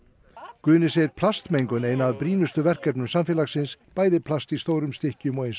Guðni segir plastmengun eina af brýnustu verkefnum samfélagsins bæði plast í stórum stykkjum og eins